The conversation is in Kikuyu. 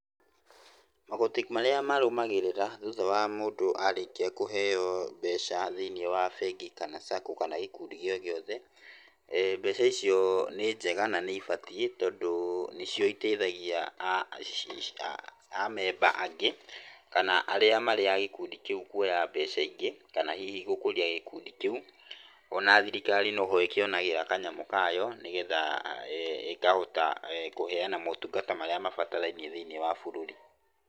Magoti marĩa marũmagĩrĩra thutha wa mundũ arĩkia kũheo mbeca thĩiniĩ wa bengi, kana sacco, kana gĩkundi gĩogĩothe, mbeca icio nĩ njega na nĩ ibatiĩ tondũ nĩ cio iteithagia amemba angĩ kana arĩa marĩ a gĩkundi kĩu kũoya mbeca ingĩ, kana hihi gũkũria gĩkundi kĩu. O na thirikari no ho ĩkĩonagĩra kanyamũ kayo nĩgetha ĩkahota kũheana maũtungata maria mabatarainie thĩiniĩ wa bũrũri.